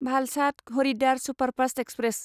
Valsad Haridwar superfast express